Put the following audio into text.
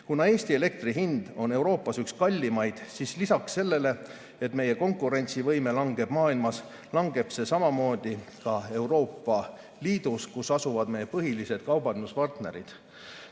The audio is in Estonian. Kuna Eestis on elektri hind Euroopas üks kallimaid, siis lisaks sellele, et meie konkurentsivõime langeb maailmas, langeb see samamoodi ka Euroopa Liidus, kus asuvad meie põhilised kaubanduspartnerid.